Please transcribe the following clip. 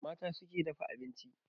Mata su ke dafa abinci